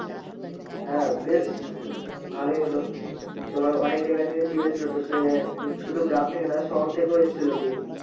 হ্যাঁ বেশ ভালোই হলো তোমার অনেক জায়গা থেকে team এসেছিলো তো সে শুধু গ্রামথেকে না শহর থেকে আসছিলো team